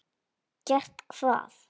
Gert hvað?